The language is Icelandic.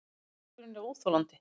Niðurskurðurinn er óþolandi